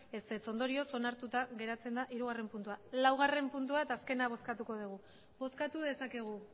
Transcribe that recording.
ondorioz onartuta gertatzen da hirugarren puntua laugarren puntua eta azkena bozkatuko dugu bozkatu dezakegu